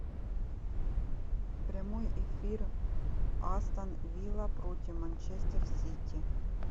прямой эфир астон вилла против манчестер сити